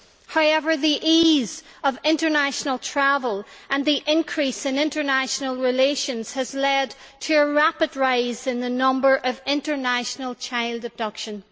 However, the ease of international travel and the increase in international relations have led to a rapid rise in the number of international child abductions.